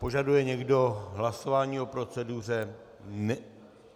Požaduje někdo hlasování o proceduře?